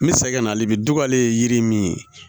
N bɛ sɛgɛn nali dugalen ye yiri min ye